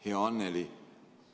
Hea Anneli!